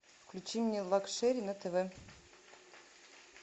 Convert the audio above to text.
включи мне лакшери на тв